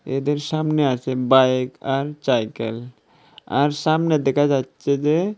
এদের সামনে আছে বাইক আর চাইকেল আর সামনে দেখা যাচ্ছে যে --